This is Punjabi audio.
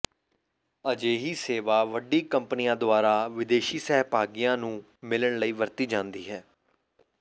ਅਜਿਹੀ ਸੇਵਾ ਵੱਡੀ ਕੰਪਨੀਆਂ ਦੁਆਰਾ ਵਿਦੇਸ਼ੀ ਸਹਿਭਾਗੀਆਂ ਨੂੰ ਮਿਲਣ ਲਈ ਵਰਤੀ ਜਾਂਦੀ ਹੈ